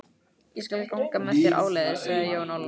Ég skal ganga með þér áleiðis, sagði Jón Ólafsson.